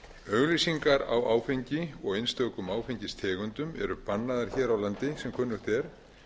auglýsingar á áfengi og einstökum áfengistegundum eru bannaðar hér á landi sem kunnugt er